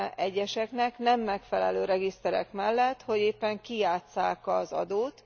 egyeseknek nem megfelelő regiszterek mellett, hogy éppen kijátsszák az adót.